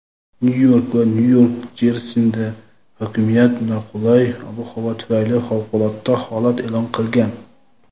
Nyu-York va Nyu-Jersida hokimiyat noqulay ob-havo tufayli favqulodda holat e’lon qilgan.